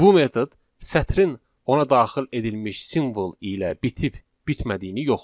Bu metod sətrin ona daxil edilmiş simvol ilə bitib bitmədiyini yoxlayır.